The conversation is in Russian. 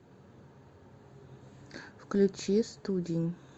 включи студень